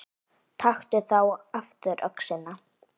Taktu þá aftur öxina.